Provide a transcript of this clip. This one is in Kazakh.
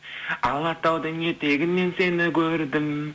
алатаудың етегінен сені көрдім